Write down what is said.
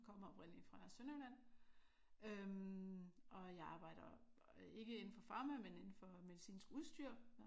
Jeg kommer oprindeligt fra Sønderjylland øh og jeg arbejder ikke indenfor farma men indenfor medicinsk udstyr